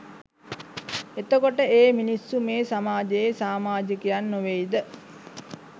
එතකොට ඒ මිනිස්සු මේ සමාජයේ සාමාජිකයන් නොවෙයිද?